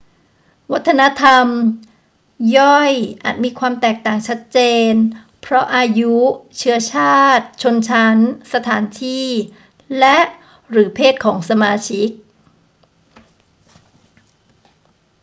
วัฒนธรรมย่อยอาจมีความแตกต่างชัดเจนเพราะอายุ เชื้อชาติ ชนชั้น สถานที่ และ/หรือเพศของสมาชิก